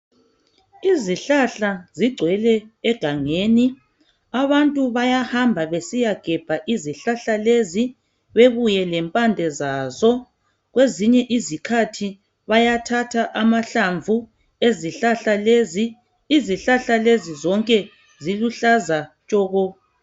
Izihlahla zigcwele egangeni, abantu bayahamba besiyagebha izihlahla lezi bebuye lempande zazo. Kwezinye izikhathi bayathatha amahlamvu ezihlahla lezi. Izihlahla lezi zonke ziluhlaza tshoko.